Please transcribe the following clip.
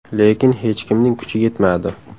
Lekin hech kimning kuchi yetmadi.